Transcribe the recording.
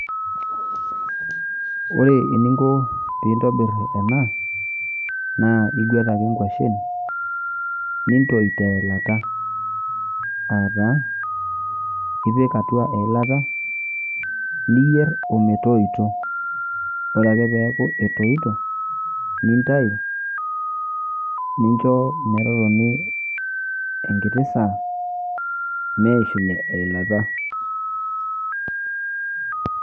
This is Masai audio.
Ore eninko piintobirr ena naa iguet ake inkuashin nintoi teilata aataa, ipik atua eilata niyierr ometoito. Ore ake peaku etoito nintayu nincho metotoni enkiti saa meishunye eilata.